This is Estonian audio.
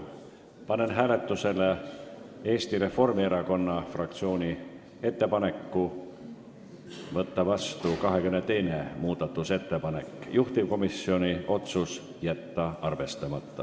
Panen hääletusele Eesti Reformierakonna fraktsiooni ettepaneku seaduseelnõu 520 teine lugemine katkestada.